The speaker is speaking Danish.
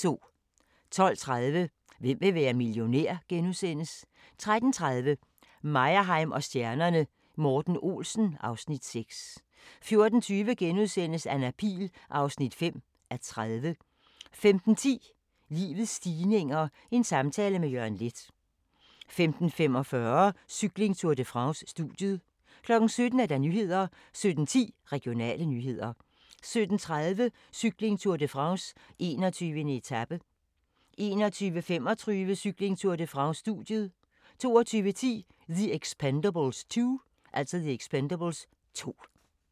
12:30: Hvem vil være millionær? * 13:30: Meyerheim & stjernerne: Morten Olsen (Afs. 6) 14:20: Anna Pihl (5:30)* 15:10: Livets stigninger - en samtale med Jørgen Leth 15:45: Cykling: Tour de France - studiet 17:00: Nyhederne 17:10: Regionale nyheder 17:30: Cykling: Tour de France - 21. etape 21:35: Cykling: Tour de France - studiet 22:10: The Expendables 2